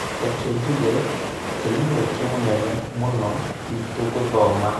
Reke njuge atĩ nĩ mweke mũnene mũno witũ gũthoma